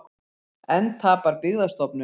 Enn tapar Byggðastofnun